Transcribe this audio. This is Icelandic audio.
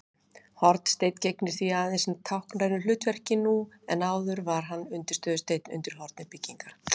Hornsteinn gegnir því aðeins táknrænu hlutverki nú en áður var hann undirstöðusteinn undir horni byggingar.